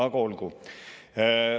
Aga olgu.